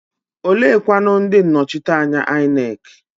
Oleekwanụ ndị nnọchiteanya INEC?